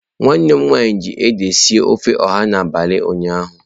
Nwanne m nwanyi ji ede sie ofe oha n'abali ụnyaahụ.